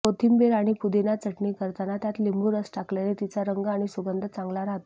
कोथिंबीर आणि पुदिना चटणी करताना त्यात लिंबू रस टाकल्याने तिचा रंग आणि सुगंध चांगला राहतो